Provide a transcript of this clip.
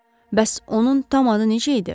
Bəs onun tam adı necə idi?